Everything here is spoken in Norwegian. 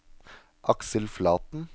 Aksel Flaten